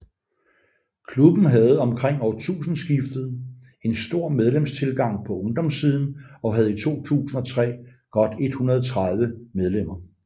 Klubben havde omkring årtusindeskiftet en stor medlemstilgang på ungdomssiden og havde i 2003 godt 130 medlemmer